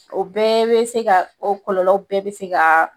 O bɛɛ bɛ se ka o kɔlɔlɔw bɛɛ bɛ se ka